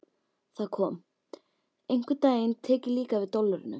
Það kom: Einhvern daginn tek ég líka við dollurunum.